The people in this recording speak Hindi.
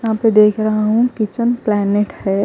यहाँ पे देख रहा हूँ किचन प्लॅनेट हैं।